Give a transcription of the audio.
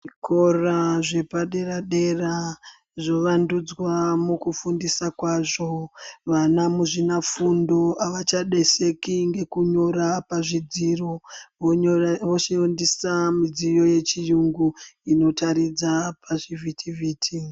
Zvikora zvepadera dera zvovandudzwa mukugundisa kwazvo. Vana muzvinafundo avachaneseki ngekunyora pazvidziro voshandisa mumidziyo yechirungu inotaridza pazvivhitivhiti.